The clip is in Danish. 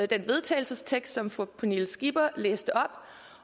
til vedtagelse som fru pernille skipper læste op